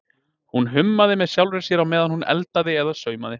Hún hummaði með sjálfri sér á meðan hún eldaði eða saumaði.